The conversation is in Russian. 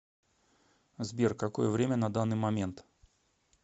сбер какое время на данный момент